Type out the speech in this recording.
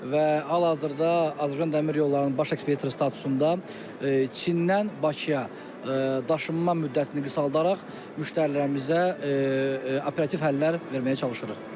Və hal-hazırda Azərbaycan Dəmir Yollarının baş ekspert statusunda Çindən Bakıya daşınma müddətini qısaldaraq müştərilərimizə operativ həllər verməyə çalışırıq.